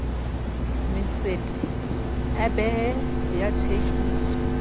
matsete a bee a thekiso